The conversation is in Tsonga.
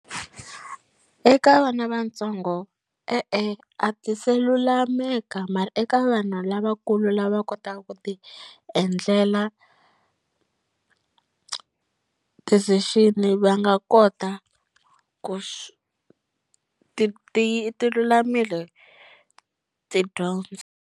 Eka vana vatsongo e-e, a ti se lulameka mara eka vanhu lavakulu lava kotaka ku ti endlela decision va nga kota ku ti ti ti lulamile tidyondzo.